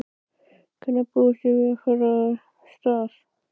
Hvenær búist þið við að fara af stað?